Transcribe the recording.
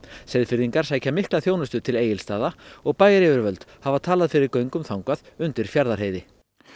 Seyðfirðingar sækja mikla þjónustu til Egilsstaða og bæjaryfirvöld hafa talað fyrir göngum þangað undir Fjarðarheiði